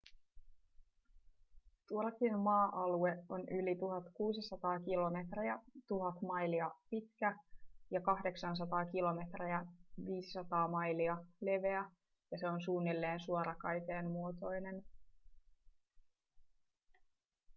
turkin maa-alue on yli 1 600 kilometriä 1 000 mailia pitkä ja 800 km 500 mailia leveä ja se on suunnilleen suorakaiteen muotoinen